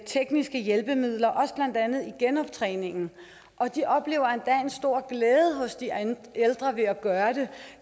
tekniske hjælpemidler blandt andet også i genoptræningen og de oplever endda en stor glæde hos de ældre ved at gøre det